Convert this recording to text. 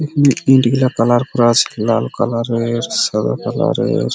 এখানে ইটগুলা কালার করা আছে লাল কালার -এর সাদা কালারের --